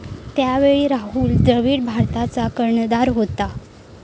त्यावेळी राहुल द्रविड भारताचा कर्णधार होता.